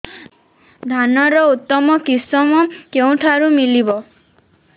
ଧାନର ଉତ୍ତମ କିଶମ କେଉଁଠାରୁ ମିଳିବ